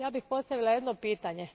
Ja bih postavila jedno pitanje.